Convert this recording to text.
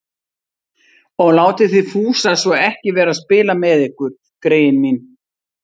Og látið þið Fúsa svo ekki vera að spila með ykkur, greyin mín